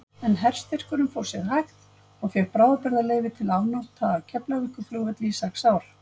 En herstyrkurinn fór sér hægt og fékk bráðabirgðaleyfi til afnota af Keflavíkurflugvelli í sex ár.